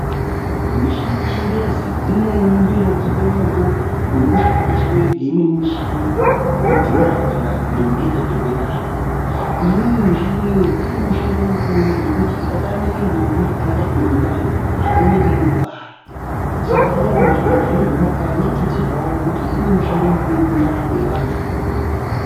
Michini yechingezi imweni ndoinokomba moto urikushandiswe ngeimweni mishini kudhuma kana ndombo yataturwe ndani. Iyoyo mishini iyoyo ine mishando mukuru ngekuti ikatamike ndombi haitaturwi ndani painenge yeide kubara. Saka dai muzvibhedhlera zvedu zvemumakanyi yatutsirwavo ngekuti inemishando mikuru mundaramo yevantu.